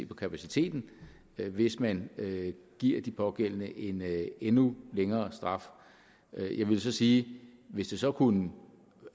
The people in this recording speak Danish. på kapaciteten hvis man giver de pågældende en endnu længere straf jeg vil så sige at hvis det så kunne